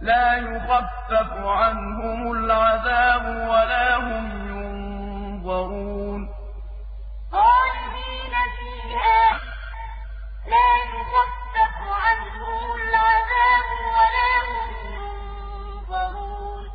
لَا يُخَفَّفُ عَنْهُمُ الْعَذَابُ وَلَا هُمْ يُنظَرُونَ خَالِدِينَ فِيهَا ۖ لَا يُخَفَّفُ عَنْهُمُ الْعَذَابُ وَلَا هُمْ يُنظَرُونَ